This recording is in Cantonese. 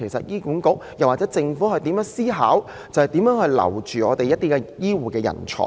醫管局或政府應思考如何挽留醫護人才。